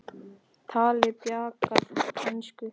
Talaði bjagaða ensku: